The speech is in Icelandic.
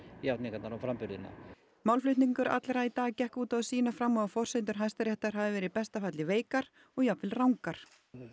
játningarnar og framburðina málflutningur allra í dag gekk út á að sýna fram á að forsendur Hæstaréttar hafi verið í besta falli veikar og jafnvel rangar